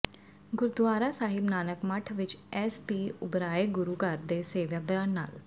ਗੁਰਦੁਆਰਾ ਸਾਹਿਬ ਨਾਨਕ ਮੱਠ ਵਿੱਚ S P Oberoi ਗੁਰੂ ਘਰ ਦੇ ਸੇਵਾਦਾਰ ਨਾਲ